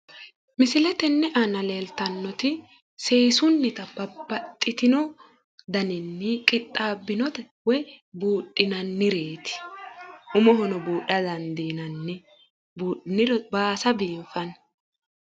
Misile tenne aana leeltannoti seessu seesunnita babbaxitino daninni qixxaabbinota woyi buudhinannireeti. umohono buudha dandiinanni. buudhiniro baasa biiffanno.